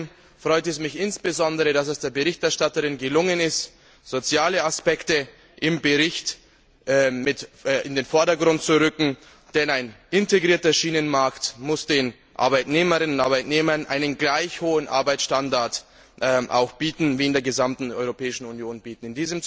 Außerdem freut es mich insbesondere, dass es der Berichterstatterin gelungen ist, soziale Aspekte im Bericht mit in den Vordergrund zu rücken, denn ein integrierter Schienenmarkt muss den Arbeitnehmerinnen und Arbeitnehmern einen gleich hohen Arbeitsstandard wie in der gesamten Europäischen Union bieten.